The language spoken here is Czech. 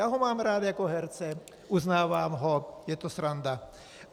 Já ho mám rád jako herce, uznávám ho, je to sranda.